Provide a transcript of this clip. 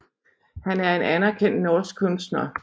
Han er en anerkendt norsk kunstner